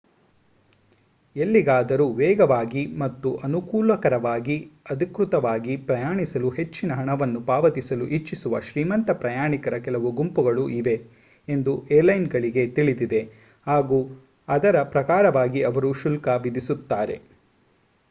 ಎಲ್ಲಿಗಾದರೂ ವೇಗವಾಗಿ ಮತ್ತು ಅನುಕೂಲಕರವಾಗಿ ಅಧಿಕೃತವಾಗಿ ಪ್ರಯಾಣಿಸಲು ಹೆಚ್ಚಿನ ಹಣವನ್ನು ಪಾವತಿಸಲು ಇಚ್ಛಿಸುವ ಶ್ರೀಮಂತ ಪ್ರಯಾಣಿಕರ ಕೆಲವು ಗುಂಪುಗಳು ಇವೆ ಎಂದು ಏರ್ಲೈನ್ಗಳಿಗೆ ತಿಳಿದಿದೆ ಹಾಗು ಅದರ ಪ್ರಕಾರವಾಗಿ ಅವರು ಶುಲ್ಕ ವಿಧಿಸುತ್ತಾರೆ